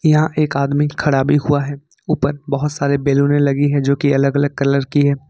यहां एक आदमी खड़ा भी हुआ है ऊपर बहोत सारे बैलूने लगी है जो की अलग अलग कलर की है।